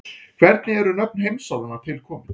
hvernig eru nöfn heimsálfanna til komin